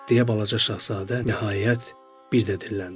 deyə Balaca Şahzadə nəhayət bir də dilləndi.